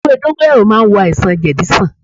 Ewé dóngóyárò màa n wò àìsàn jedi sàn